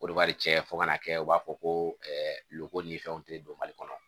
O de b'a cɛ fo ka na kɛ u b'a fɔ ko loko ni fɛnw tɛ don mali kɔnɔ